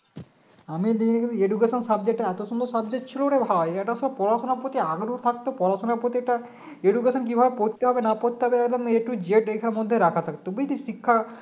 আমি নিয়েছি Education subject টা এত সুন্দর subject ছিল রে ভাই একটা সব পড়াশুনার প্রতি আগ্রহ থাকতো পড়াশুনার প্রতি একটা education কিভাবে পড়তে হয় না পড়তে হবে একদম A to Z এটার মধ্যে রাখা থাকত বুঝলি শিক্ষা